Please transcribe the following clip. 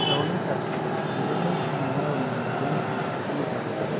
ore tekunakati meyioloi enayau ina moyian eluboto